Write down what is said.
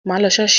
Má lọ ṣọ́ọ̀ṣì!